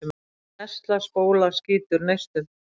Tesla-spóla skýtur neistum.